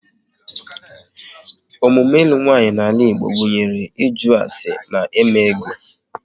Emume ilu nwaanyị n'ala Igbo gụnyere ịjụ ase na eme ego